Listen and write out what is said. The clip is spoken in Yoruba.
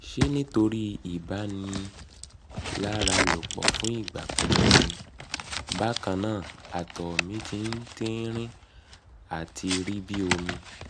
ṣe nitori ibaniaralopo fun igba pipẹ ni? bakanna ato mi ti tinrin ati ati ri bi omi